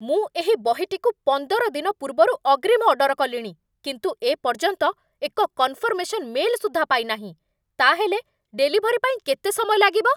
ମୁଁ ଏହି ବହିଟିକୁ ପନ୍ଦର ଦିନ ପୂର୍ବରୁ ଅଗ୍ରୀମ ଅର୍ଡର କଲିଣି, କିନ୍ତୁ ଏ ପର୍ଯ୍ୟନ୍ତ ଏକ କନଫର୍ମେସନ୍ ମେଲ୍ ସୁଦ୍ଧା ପାଇନାହିଁ। ତା'ହେଲେ ଡେଲିଭରି ପାଇଁ କେତେ ସମୟ ଲାଗିବ?